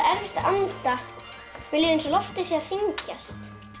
anda mér líður eins og loftið sé að þyngjast